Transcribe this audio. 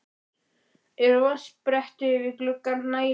Eru vatnsbretti við glugga nægilega vel frá gengin?